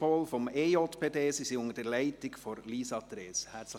Sie sind unter der Leitung von Lisa Trees hier.